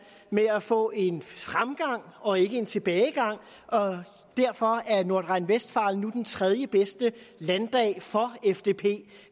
med at få en fremgang og ikke en tilbagegang og derfor er nordrhein westfalen nu den tredjebedste landdag for fdp